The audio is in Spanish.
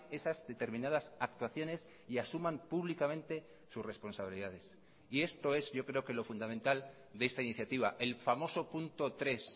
esas determinadas actuaciones y asuman públicamente sus responsabilidades y esto es yo creo que lo fundamental de esta iniciativa el famoso punto tres